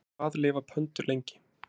Hvað lifa pöndur lengi?